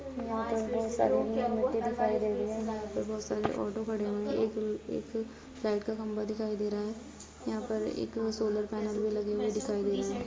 यहाँ पर बहोत सारे मिट्टी दिखाई दे रही है। यहाँ पर बहोत सारे ऑटो खड़े हुए हैं एक- एक लाइट का खंभा दिखाई दे रहा है। यहाँ पर एक सोलर पैनल भी लगे हुए दिखाई दे रहे हैं।